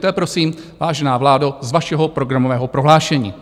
To je, prosím, vážená vládo, z vašeho programového prohlášení.